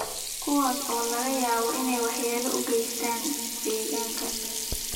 kuwaas oo laga yaabo inay waxyeelo u geystaan ??deegaanka.